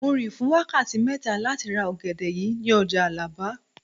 Mo rìn fún wákàtí mẹ́ta láti ra ọ̀gẹ̀dẹ̀ yìí ní ọjà Àlàbá